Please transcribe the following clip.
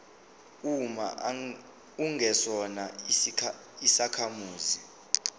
uma ungesona isakhamuzi